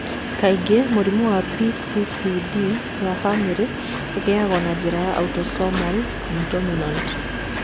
Kaingĩ mĩrimũ ya PCCD ya famĩlĩ ĩigagwo na njĩra ya autosomal dominant.